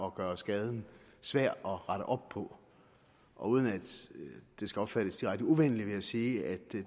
at gøre skaden svær at rette op på uden at det skal opfattes direkte uvenligt vil jeg sige at det